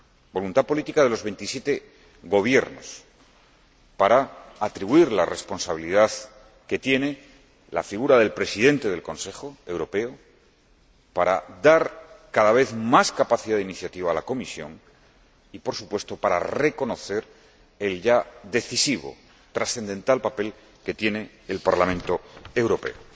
Voluntad política de los veintisiete Gobiernos para atribuir la responsabilidad que tiene la figura del Presidente del Consejo Europeo, para dar cada vez más capacidad de iniciativa a la Comisión y, por supuesto, para reconocer el ya decisivo, trascendental papel que tiene el Parlamento Europeo.